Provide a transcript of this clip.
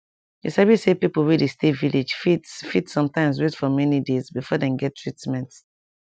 you sabi say pipo wey dey stay village fit fit sometimes wait for many days before dem get treatment